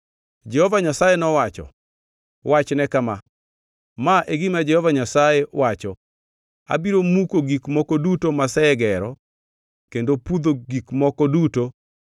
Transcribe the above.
Jehova Nyasaye nowacho, “Wachne kama: ‘Ma e gima Jehova Nyasaye wacho: Abiro muko gik moko duto masegero kendo pudho gik moko duto masepidho e piny ngima.